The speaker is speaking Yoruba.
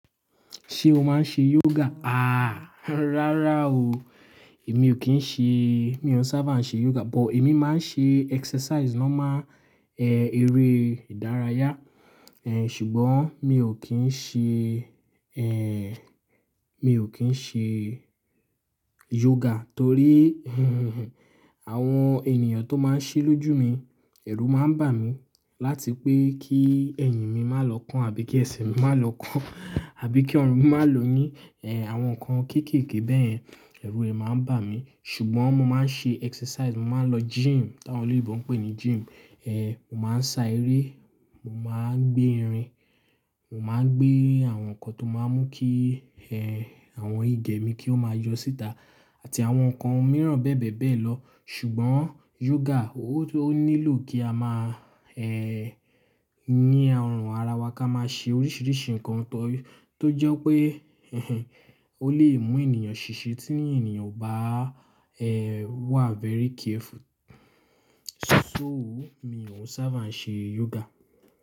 Ṣé o máa ń ṣe yoga? Àá, rárá o. Èmi ò kí ń ṣe, mi ò sábà ń ṣe yoga, but èmi máa ń ṣe exercise normal, eh, eré ìdárayá. Ṣùgbọ́n mi ò kí ń ṣe, mi ò kí ń ṣe yoga torí àwọn ènìyàn tó máa ń ṣe lójú mi, ẹ̀rù máa ń bà mí láti pé kí ẹ̀yìn mi má lọ kán àbí kí ẹsẹ̀ mi má lọ kán, àbí kí ọ̀run mi má lò yín, àwọn nǹkan kéékèèké bẹ́ẹ̀ yẹn, ẹ̀rù rẹ̀ máa ń bà mí. Ṣùgbọ́n mo máa ń ṣe exercise, mo máa ń lọ gym, t'áwọn lòyìnbó ń pè ní gym. Mo máa ń sa eré, mo máa ń gbé irin, mo máa ń gbé àwọn nǹkan tó máa ń mú kí, eh, àwọn igẹ̀ mi kí ó máa yọ síta àti àwọn nǹkan mìíràn bẹ́ẹ̀ bẹ́ẹ̀ bẹ́ẹ̀ lọ. Ṣùgbọ́n yoga ó, ó nílò kí a má, yín ọrùn ara wa ká máa ṣe oríṣiríṣi nǹkan tó, tó jẹ́ pé ó lè mú ènìyàn ṣìṣe tí ènìyàn ò bá, wà very careful. So mi ò sábà ń ṣe yoga.